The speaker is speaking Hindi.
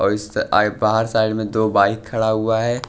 और अ अ बाहर साइड में दो बाइक खड़ा हुआ है।